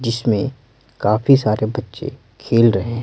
जिसमें काफी सारे बच्चे खेल रहे हैं।